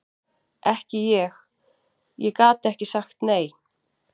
Ekki ég, ég gat ekki sagt nei.